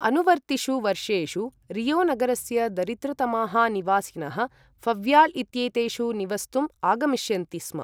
अनुवर्तिषु वर्षेषु रियो नगरस्य दरिद्रतमाः निवासिनः ऴव्याल इत्येतेषु निवस्तुम् आगमिष्यन्ति स्म।